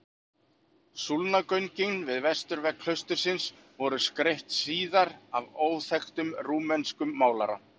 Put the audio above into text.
Súlnagöngin við vesturvegg klaustursins voru skreytt síðar af óþekktum rúmenskum málara.